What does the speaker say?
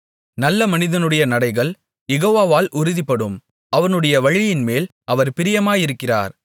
நல்ல மனிதனுடைய நடைகள் யெகோவாவால் உறுதிப்படும் அவனுடைய வழியின்மேல் அவர் பிரியமாயிருக்கிறார்